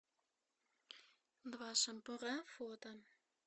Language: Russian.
два шампура фото